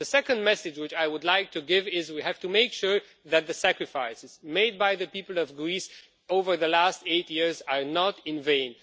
The second message which I would like to give is that we have to make sure that the sacrifices made by the people of Greece over the last eight years are not in vain.